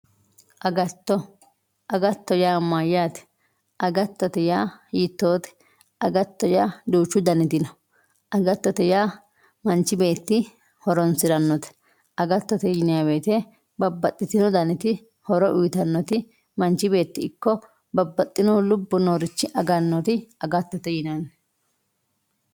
agatto. agattote yaa mayyaate agattote yaa hiittoote agattote yaa duuchu daniti no agattote yaa manchi beetti horoonsirannote agattote yinayii woyiite babbaxxitewoo daniti horo uyiitannoti manchi beetti ikko babbaxxino lubbo noorichi agannoti agattote yinanni.